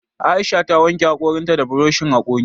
Aisha ta wanke haƙoran ta da buroshin haƙori